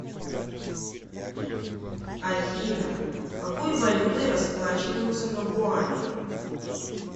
афина какой валютой расплачиваются на гуаме